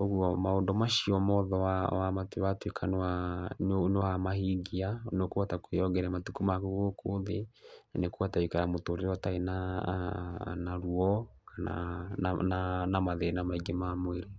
Ũguo maũndũ macio mothe watuĩka nĩ wa mahingia nĩ ũkũhota kuongerera matukũ maku gũkũ thĩ, na nĩ ũkũhota gũikara mũtũũrĩre ũtarĩ na, na ruo kana na, na mathĩna maingĩ ma mwĩrĩ.